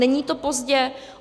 Není to pozdě.